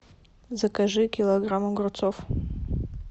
закажи килограмм огурцов